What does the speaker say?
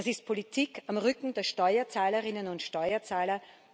Das ist Politik am Rücken der Steuerzahlerinnen und Steuerzahler.